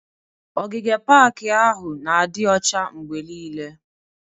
Ogige pak ahụ n'adi ọcha mgbe niile